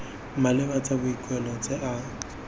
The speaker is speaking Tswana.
maleba tsa boikuelo tse a